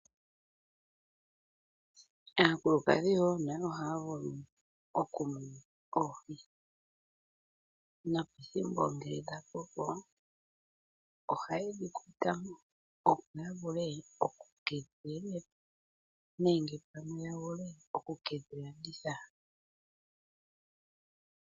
Aakulukadhi nayo ohaavulu okumuna oohi no ngele dhakoko ohaye dhi kwatamo momeya, opo yekedhi elelepo nenge yekidhi landithe.